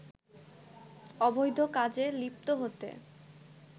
অবৈধ কাজে লিপ্ত হতে